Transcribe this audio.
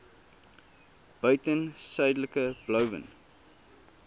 buiten suidelike blouvin